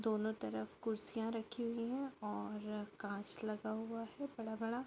दोनों रफ कुर्सीया रखी हुई है और कांच लगा हुआ बड़ा-बड़ा--